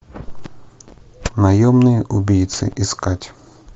наемные убийцы искать